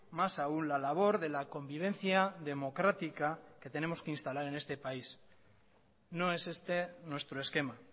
más aún la labor de la convivencia democrática que tenemos que instalar en este país no es este nuestro esquema